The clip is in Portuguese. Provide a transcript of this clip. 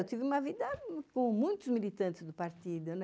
Eu tive uma vida com muitos militantes do partido, né?